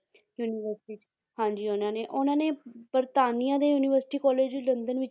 University 'ਚ ਹਾਂਜੀ ਉਹਨਾਂ ਨੇ ਉਹਨਾਂ ਨੇ ਬਰਤਾਨੀਆ ਦੇ university college ਲੰਦਨ ਵਿੱਚ